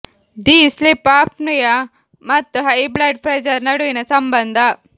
the sleep apnea ಮತ್ತು high blood pressure ನಡುವಿನ ಸಂಬಂಧ